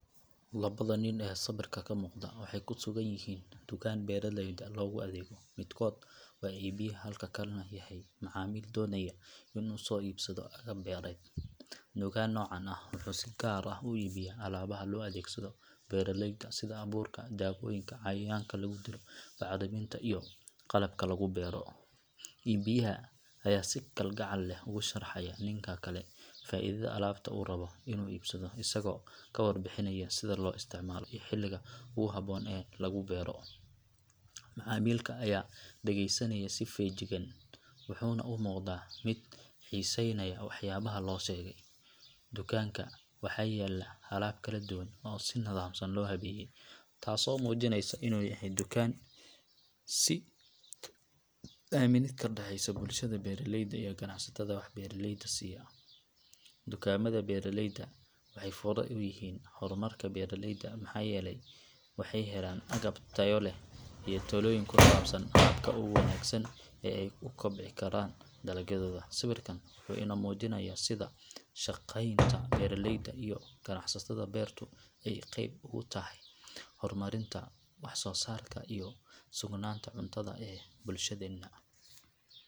Labada nin ee sawirka ka muuqda waxay ku sugan yihiin dukaan beeralayda loogu adeego midkood waa iibiyaha halka kan kalena yahay macmiil doonaya inuu soo iibsado agab beereed. Dukaan noocan ah wuxuu si gaar ah u iibiyaa alaabaha loo adeegsado beeraleyda sida abuurka, daawooyinka cayayaanka lagu dilo, bacriminta iyo qalabka lagu beero. Iibiyaha ayaa si kalgacal leh ugu sharxaya ninka kale faa’iidada alaabta uu rabo inuu iibsado isagoo ka warbixinaya sida loo isticmaalo iyo xilliga ugu habboon ee lagu beero. Macmiilka ayaa dhageysanaya si feejigan wuxuuna u muuqdaa mid xiisaynaya waxyaabaha loo sheegay. Dukaanka waxaa yaalla alaab kala duwan oo si nidaamsan loo habeeyay taasoo muujinaysa inuu yahay dukaan si wanaagsan u shaqeeya oo la isku halayn karo. Wax kala iibsiga noocan ah wuxuu muujinayaa horumar iyo is aaminid ka dhexeysa bulshada beeraleyda iyo ganacsatada wax beeraleyda siiya. Dukaamada beeraleyda waxay fure u yihiin horumarka beeralayda maxaa yeelay waxay helaan agab tayo leh iyo talooyin ku saabsan habka ugu wanaagsan ee ay u kobcin karaan dalagyadooda. Sawirkan wuxuu inoo muujinayaa sida wada shaqeynta beeraleyda iyo ganacsatada beertu ay qayb uga tahay horumarinta wax soo saarka iyo sugnaanta cuntada ee bulshadeenna.